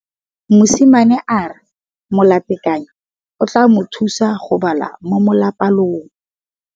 Mosimane a re molatekanyô o tla mo thusa go bala mo molapalong.